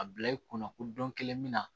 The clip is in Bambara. A bila i kunna ko don kelen min na